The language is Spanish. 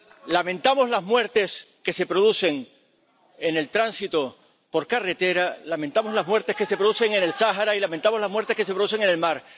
Lamentamos las muertes que se producen en el tránsito por carretera, lamentamos las muertes que se producen en el Sáhara y lamentamos las muertes que se producen en el mar.